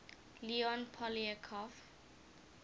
leon poliakov